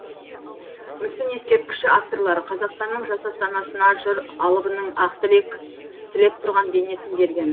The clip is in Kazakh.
мүсін ескерткіші авторлары қазақстанның жас астанасына жыр алыбының ақ тілек тілеп тұрған бейнесін берген